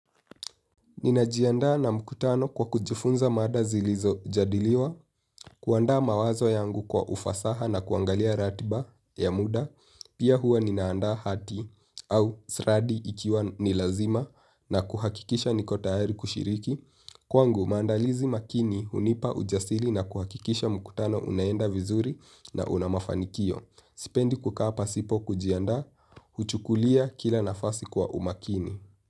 Ninajianda na mkutano kwa kujifunza mada zilizo jadiliwa, kuanda mawazo yangu kwa ufasaha na kuangalia ratiba ya muda, pia huwa ninaanda hati au sradi ikiwa nilazima na kuhakikisha nikotayari kushiriki. Kwangu, maandalizi makini hunipa ujasili na kuhakikisha mkutano unaenda vizuri na unamafanikio. Sipendi kukaa pasipo kujianda, huchukulia kila nafasi kwa umakini.